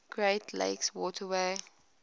great lakes waterway